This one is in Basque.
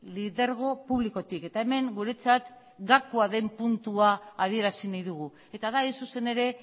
lidergo publikotik eta hemen guretzat gakoa den puntua adierazi nahi dugu eta da hain zuzen ere